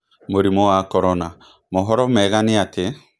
Mũrimũ wa Korona: Mohoro mega nĩ atĩ...